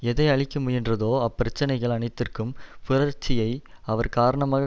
எதை அழிக்க முயன்றதோ அப்பிரச்சனைகள் அனைதிற்கும் புரட்சியை அவர் காரணமாக